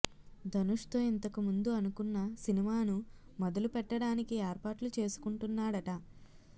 ధనుష్ తో ఇంతకుముందు అనుకున్న సినిమాను మొదలు పెట్టడానికి ఏర్పాట్లు చేసుకుంటున్నాడట